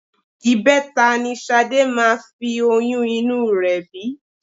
Ìbẹta ni Ṣadé máa fi oyún inú rẹ bí